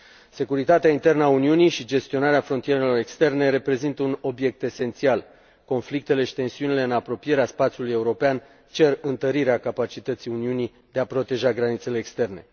Securitatea internă a Uniunii și gestionarea frontierelor externe reprezintă un obiect esențial conflictele și tensiunile în apropierea spațiului european cer întărirea capacității Uniunii de a proteja granițele externe.